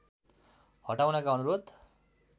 हटाउनका अनुरोध